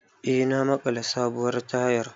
Eh na maƙala sabuwar tayar